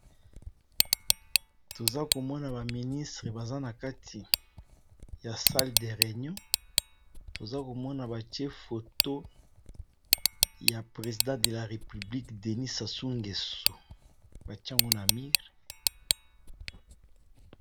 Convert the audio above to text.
Toza komona ba ministre baza na kati ya salle de reunion toza komona batie foto ya president de la republique Denis Sassou Ngeso batie ango na mir.